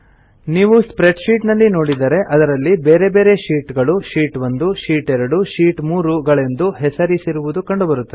ನೀವು spreadsheet ನಲ್ಲಿ ನೋಡಿದರೆ ಅದರಲ್ಲಿ ಬೇರೆ ಬೇರೆ ಶೀಟ್ ಗಳು ಶೀಟ್ 1 ಶೀಟ್ 2 ಶೀಟ್ 3 ಗಳೆಂದು ಹೆಸರಿಸಿರುವುದು ಕಂಡುಬರುತ್ತದೆ